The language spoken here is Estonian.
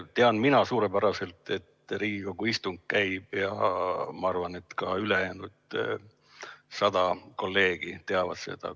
Tean mina suurepäraselt, et Riigikogu istung käib, ja ma arvan, et ka ülejäänud 100 kolleegi teavad seda.